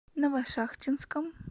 новошахтинском